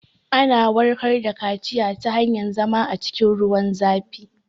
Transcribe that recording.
Ana warkar da kaciya ta hanyar zama a cikin ruwan zafi